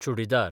churidar